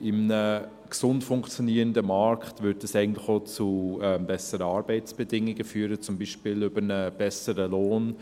In einem gesund funktionierenden Markt würde das eigentlich auch zu besseren Arbeitsbedingungen führen, zum Beispiel über einen besseren Lohn.